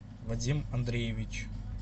вадим андреевич